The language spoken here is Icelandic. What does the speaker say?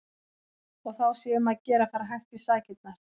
Og þá sé um að gera að fara hægt í sakirnar.